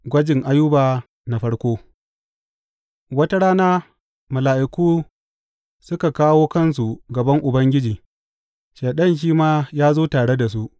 Gwajin Ayuba na farko Wata rana mala’iku suka kawo kansu gaban Ubangiji, Shaiɗan shi ma ya zo tare da su.